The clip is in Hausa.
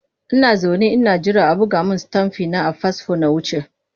Ina zaune ina jira a buga min stamfi na a fasfo na wuce.